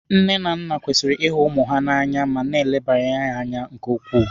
Nne na nna kwesịrị ihu ụmụ ha na anya ma na-elebara ha anya nke ukwuu.